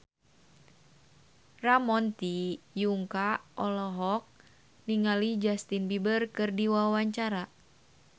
Ramon T. Yungka olohok ningali Justin Beiber keur diwawancara